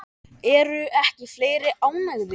Eru ekki fleiri ánægðir?